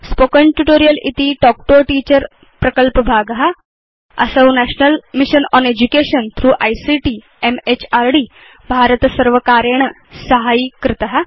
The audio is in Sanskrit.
Spoken ट्यूटोरियल् इति तल्क् तो a टीचर प्रकल्पभाग असौ national mission on education through ICT MHRD भारतसर्वकारेण साहाय्यीकृत